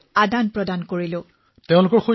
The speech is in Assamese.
প্ৰধানমন্ত্ৰীঃ আপোনালোকৰ এতিয়াও যোগাযোগ আছে নে